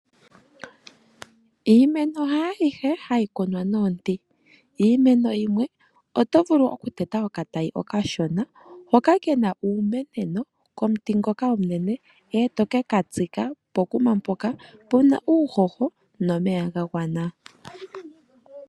Iimeno haayihe hayi kunwa nomidhi, iimeno yimwe oto vulu oku teta okatayi okashona hoka kena uumeneno komuti ngoka omunene eto keka tsika pokuma mpoka puna uuhoho nomeya ga gwana.